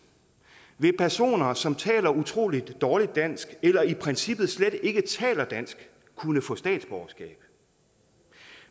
vil personer som taler utrolig dårligt dansk eller i princippet slet ikke taler dansk kunne få statsborgerskab